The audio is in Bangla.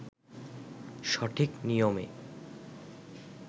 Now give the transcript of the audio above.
সঠিক নিয়মে